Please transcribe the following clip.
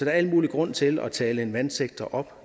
er al mulig grund til at tale en vandsektor op